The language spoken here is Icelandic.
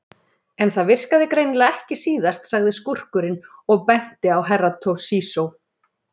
En það virkaði greinilega ekki síðast, sagði skúrkurinn og benti á Herra Toshizo.